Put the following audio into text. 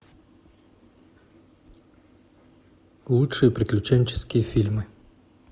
лучшие приключенческие фильмы